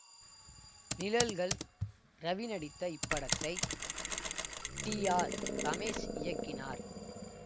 நிழல்கள் ரவி நடித்த இப்படத்தை T R Ramesh இயக்கினார்